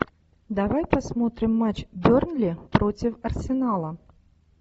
давай посмотрим матч бернли против арсенала